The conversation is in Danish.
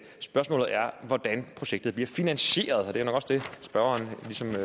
spørgsmålet er hvordan projektet bliver finansieret og det er nok også derfor spørgeren